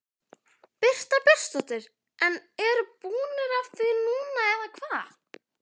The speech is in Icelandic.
Birta Björnsdóttir: En eru búnir af því núna eða hvað?